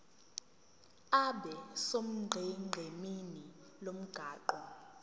abe sonqenqemeni lomgwaqo